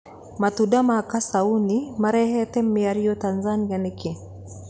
Matunda ma kaciũnĩmarehete mĩario Tanzania nĩkĩ?